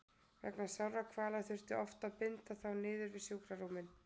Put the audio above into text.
Vegna sárra kvala þurfti oft að binda þá niður við sjúkrarúmin.